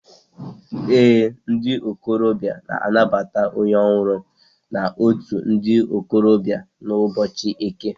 Ee, ndi okorobia na-anabata onye ohuru na out ndi okorobia n'ubochi Eke